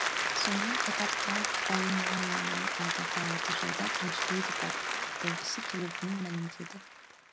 сонымен қатар трамп жұбайы меланияның алдағы алты жылда бірінші леди болғысы келетінін мәлімдеді